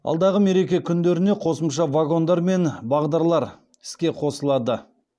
алдағы мереке күндеріне қосымша вагондар мен бағдарлар іске қосылады